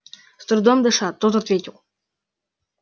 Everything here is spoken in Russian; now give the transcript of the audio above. с трудом дыша тот ответил